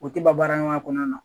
O tɛ ban baara ɲɔgɔnya kɔnɔna na